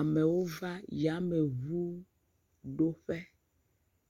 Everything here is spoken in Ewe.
Amewo va yameŋuɖoƒe.